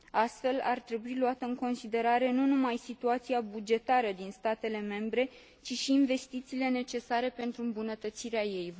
Astfel, ar trebui luată în considerare nu numai situația bugetară din statele membre, ci și investițiile necesare pentru îmbunătățirea ei.